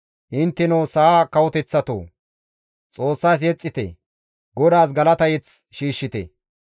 Intteno sa7a kawoteththatoo! Xoossas yexxite; Godaas galata mazamure shiishshite.